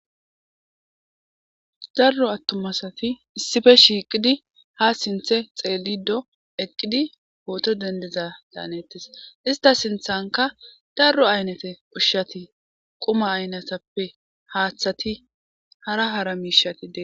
Darro attumasati issife shiiqidi ha sinthe xeelli do eqqidi pooto dendeza daanettes. Ista sinthanka darro aynete ushshati quma aynetappe haaththati hara hara miishati de.